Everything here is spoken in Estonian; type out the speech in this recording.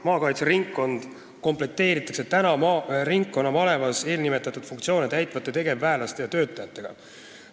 Maakaitseringkond komplekteeritakse praeguste ringkonnamalevas eelnimetatud funktsioone täitvate tegevväelaste ja töötajatega.